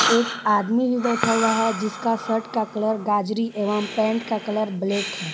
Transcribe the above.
एक आदमी भी बैठा हुआ है जिसका शर्ट का कलर गाजरी एवं पैंट का कलर ब्लैक है।